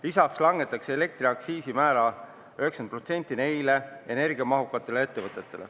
Lisaks langetatakse nendel energiamahukatel ettevõtetel elektriaktsiisi määra 90%.